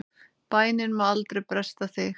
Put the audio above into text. Bænin má aldrei bresta þig!